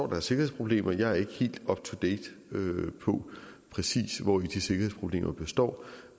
der er sikkerhedsproblemer jeg er ikke helt up to date på præcis hvori de sikkerhedsproblemer består